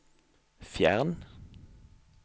fjern